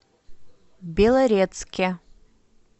белорецке